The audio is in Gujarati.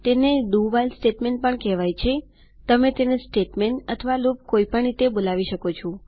તેને do વ્હાઇલ સ્ટેટમેન્ટ પણ કેહવાય છેતમે તેને સ્ટેટમેન્ટ અથવા લૂપ કોઈ પણ રીતે બોલાવી શકો છો